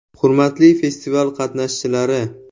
Hurmatli festival qatnashchilari!